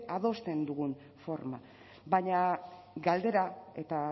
adosten dugun forma baina galdera eta